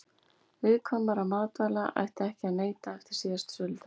Viðkvæmra matvæla ætti ekki að neyta eftir síðasta söludag.